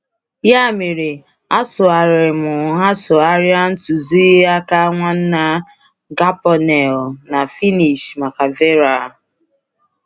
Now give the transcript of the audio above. Ya mere, a sụgharịrị m a sụgharịrị m ntuziaka Nwanna Carbonneau na Finnish maka Veera.